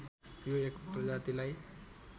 यो एक प्रजातिलाई